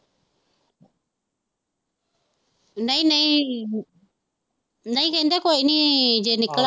ਨਹੀਂ ਨਹੀਂ, ਨਹੀਂ ਕਹਿੰਦੇ ਕੋਈ ਨੀ ਜੇ ਨਿਕਲ ਆਏ।